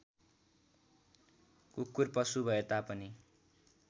कुकुर पशु भएतापनि